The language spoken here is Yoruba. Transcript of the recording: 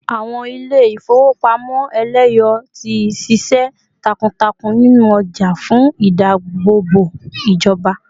ìwọn ilé ifowopamọ eleyo ti sise takuntakun ninu oja fún ìdáàbòbò ijoba